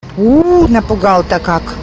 уу напугал то как